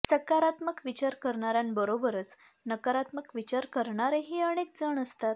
सकारात्मक विचार करणाऱ्यांबरोबरच नकारात्मक विचार करणारेही अनेक जण असतात